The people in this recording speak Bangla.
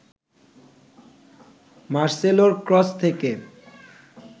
মার্সেলোর ক্রস থেকে